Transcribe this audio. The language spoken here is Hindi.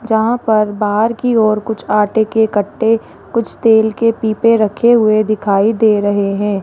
जहां पर बाहर की ओर कुछ आटे के कट्टे कुछ तेल के पीपे रखे हुए दिखाई दे रहे हैं।